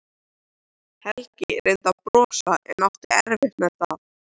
Helgi reyndi að brosa en átti erfitt með það.